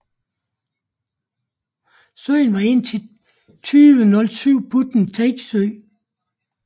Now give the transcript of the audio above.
Søen var indtil 2007 put and take sø